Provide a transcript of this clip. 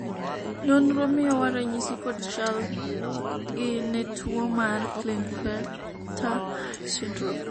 nonro miyowa ranyisi kod chal gi ne tuo mar klinefelter syndrome